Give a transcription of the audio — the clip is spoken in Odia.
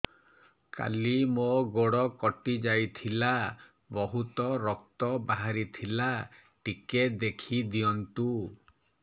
କାଲି ମୋ ଗୋଡ଼ କଟି ଯାଇଥିଲା ବହୁତ ରକ୍ତ ବାହାରି ଥିଲା ଟିକେ ଦେଖି ଦିଅନ୍ତୁ